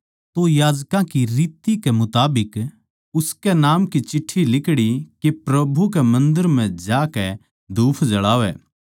तो याजकां की रीत कै मुताबिक उसकै नाम की चिट्ठी लिकड़ी के प्रभु कै मन्दर म्ह जाकै धूप जळावै